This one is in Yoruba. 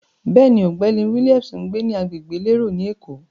Bẹ́ẹ̀ni, ọ̀gbẹ́ni Williams ń gbé ní agbègbè elérò ni Èkó.